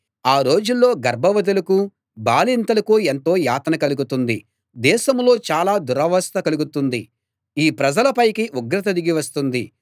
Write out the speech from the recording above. ఆ రోజుల్లో గర్భవతులకూ బాలింతలకూ ఎంతో యాతన కలుగుతుంది దేశంలో చాలా దురవస్థ కలుగుతుంది ఈ ప్రజల పైకి ఉగ్రత దిగి వస్తుంది